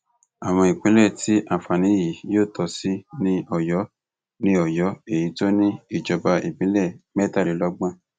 àwọn ìpínlẹ tí àǹfààní yìí yóò tọ sí ni ọyọ ni ọyọ èyí tó ní ìjọba ìbílẹ mẹtàlélọgbọn